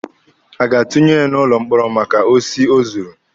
A ga-atunye ya n'ụlọ mkpọrọ maka osi o zuru?